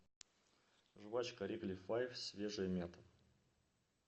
жвачка ригли файв свежая мята